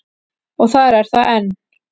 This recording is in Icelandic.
Og þar er það enn.